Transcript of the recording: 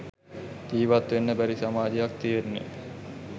ජීවත්වෙන්න බැරි සමාජයක් තියෙන්නෙ